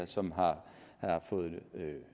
som har fået